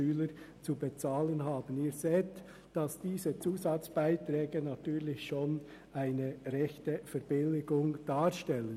Sie sehen, dass diese Zusatzbeiträge schon eine ordentliche Verbilligung darstellen.